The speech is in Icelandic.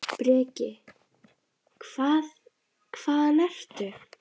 Breki: Hvað, hvaðan ertu?